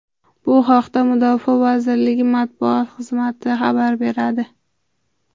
Bu haqda Mudofaa vazirligi matbuot xizmati xabar beradi.